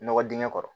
Nɔgɔ dingɛ kɔrɔ